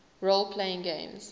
role playing games